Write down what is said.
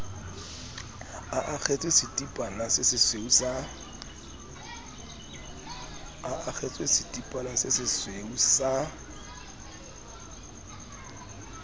a akgetse setipana sesesweu sa